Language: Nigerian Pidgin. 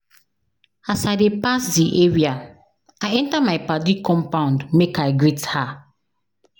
As I dey pass di area, I enta my paddy compound make I greet her.